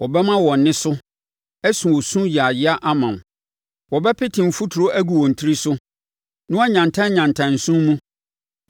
Wɔbɛma wɔn ɛnne so asu osu yaaya ama wo; wɔbɛpete mfuturo agu wɔn tiri so na wɔayantanyantam nsõ mu.